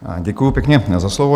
Děkuji pěkně za slovo.